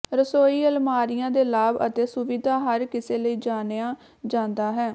ਰਸੋਈ ਅਲਮਾਰੀਆ ਦੇ ਲਾਭ ਅਤੇ ਸੁਵਿਧਾ ਹਰ ਕਿਸੇ ਲਈ ਜਾਣਿਆ ਜਾਂਦਾ ਹੈ